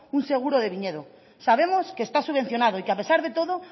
un seguro de viñedo sabemos que está subvencionado y que a pesar de todo